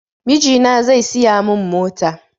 Mijina zai siya mun mota